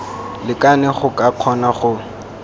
lekane go ka kgona go